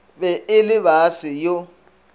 be e le baase yo